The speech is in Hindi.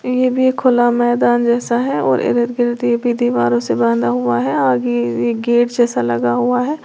ये भी खुला एक मैदान जैसा है और भी दीवारों से बांधा हुआ है आगे एक गेट जैसा लगा हुआ है।